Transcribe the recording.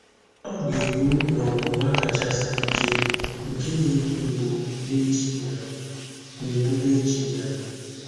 Ọ̀ gà-erù n’ònwùnwà káchà sìé ìké, nkè nà-ègbú mgbù, n’èchí ya. mgbù, n’èchí ya.